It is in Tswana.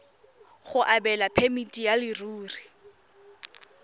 go abelwa phemiti ya leruri